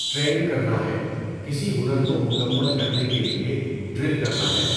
Train کرنا ہے، کسی ہنر کو مکمل کرنے کے لئے، ڈرل کرنا ہے۔